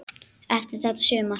Eftir þetta sumar.